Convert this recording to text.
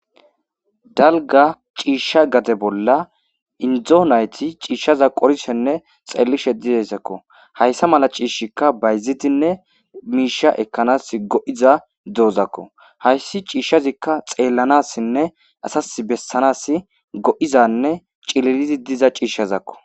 dalga ciishsha gade bolla indo nayti ciishshaza qorishenne xeellishe dideyssakko hayssa mala ciishshikka bayzidinne miisha ekkanas go'iza doozakko hayssi ciishshazikka xeellanassinne asas bessanas go'izzanne cililizi diza ciishshazakko